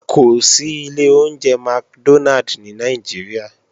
Kò sí ilé oúnjẹ McDonald ní Nàìjíríà